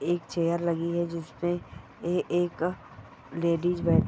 एक चेयर लगी है जिसपे ए एक लेडीज बैठी--